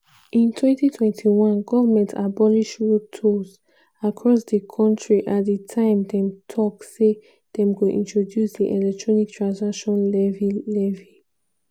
in 2021 goment abolish road tolls across di kontri at di time dem tok say dem go introduce di electronic transaction levy (e-levy)